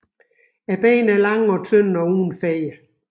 Benene er lange og tynde og uden fjer